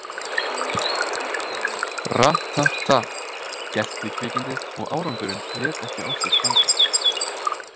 Rat- ta- tat, gelti kvikindið og árangurinn lét ekki á sér standa.